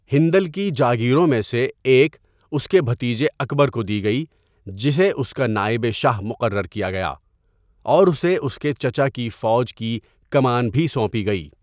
ہندل کی جاگیروں میں سے ایک اس کے بھتیجے اکبر کو دی گئی جسے اس کا نائبِ شاہ مقرر کیا گیا اور اسے اس کے چچا کی فوج کی کمان بھی سونپی گئی۔